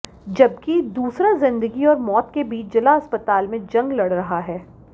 जबकि दूसरा जिंदगी और मौत के बीच जिला अस्पताल में जंग लड़ रहा है